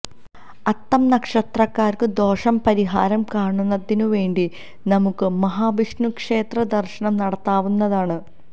അത്തം നക്ഷത്രക്കാര്ക്ക് ദോഷം പരിഹാരം കാണുന്നതിന് വേണ്ടി നമുക്ക് മഹാവിഷ്ണു ക്ഷേത്ര ദര്ശനം നടത്താവുന്നതാണ്